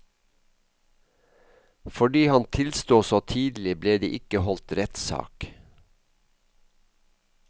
Fordi han tilsto så tidlig, ble det ikke holdt rettssak.